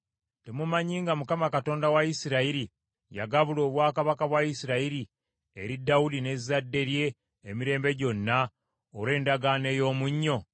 Temumanyi nga Mukama Katonda wa Isirayiri, yagabula obwakabaka bwa Isirayiri eri Dawudi ne zadde lye emirembe gyonna olw’endagaano ey’omunnyo?